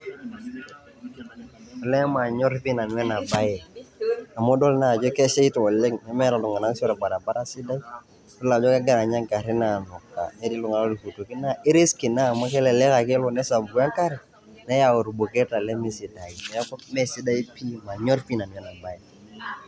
Olee manyor pi nanu enabae. Amu idol najo keshaita oleng' nemeeta iltung'anak si orbaribara sidai, idol ajo kegira nye garrin amuka. Netii iltung'anak loltukutuki na ke risky ina amu kelelek ake elo nesapuku enkare, niyau irbuketa lemesidai. Neeku mesidai pi, manyor pi nanu enabae.